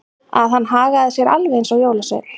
Að hann hagaði sér alveg eins og jólasveinn.